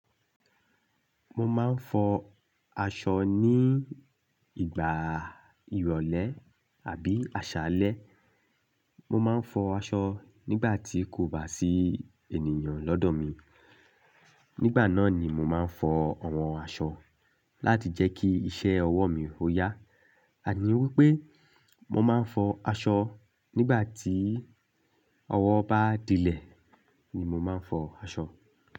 Mo máa ń fọ aṣọ ní ìgbà ìrọ̀lẹ́ àbí àṣálẹ́. Mo máa ń fọ aṣọ nígbà tí kò bá sí ènìyàn lọ́dọ̀ mi. Nígbà náà ni mo máa ń fọ àwọn aṣọ láti jẹ́ kí iṣẹ́ ọwọ́ mi ó yá. Àní wípé mo máa ń fọ aṣọ nígbà tí ọwọ́ bá dílẹ̀ ni mo máa ń fọ aṣọ.